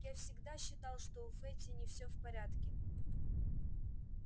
я всегда считал что у фэтти не все в порядке